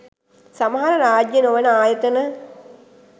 සමහර රාජ්‍යය නොවන ආයතන